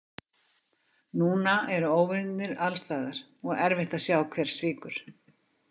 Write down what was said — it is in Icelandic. Núna eru óvinirnir alstaðar og erfitt að sjá hver svíkur.